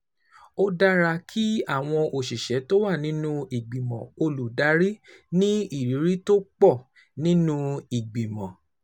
Ó dára kí àwọn òṣìṣẹ́ tó wà nínú ìgbìmọ̀ olùdarí ní ìrírí tó pọ̀ nínú ìgbìmọ̀